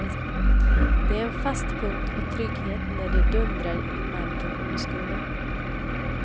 Det är en fast punkt och trygghet när det dundrar i marken under skorna.